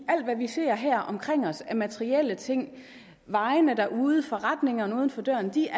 alt hvad vi ser her omkring os af materielle ting vejene derude og forretningerne uden for døren er